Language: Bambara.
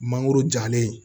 Mangoro jalen